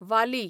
वाली